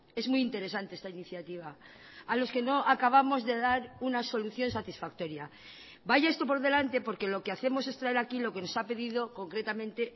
es muy interesante esta iniciativa a los que no acabamos de dar una solución satisfactoria vaya esto por delante porque lo que hacemos es traer aquí lo que nos ha pedido concretamente